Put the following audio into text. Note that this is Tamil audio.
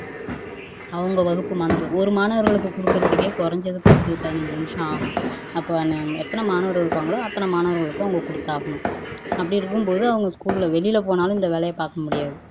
அவங்க வகுப்பு மாணவர்களுக்கு ஒரு மாணவருக்கு குடுக்கவே குறைஞ்சது பத்து பதினைந்து நிமிஷம் ஆகும் அப்போ எத்தனை மாணவர்கள் இருக்கிறாங்களோ அத்தனை மாணவர்களுக்கும் அவங்க குடுத்தாகணும் அப்படி இருக்கும்போது அவங்க ஸ்கூல்ல வெளில போனாலும் இந்த வேலைய பாக்க முடியாது